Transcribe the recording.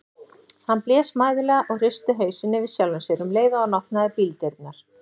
Hann blés mæðulega og hristi hausinn yfir sjálfum sér um leið og hann opnaði bíldyrnar.